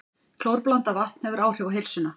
Klórblandað vatn hefur áhrif á heilsuna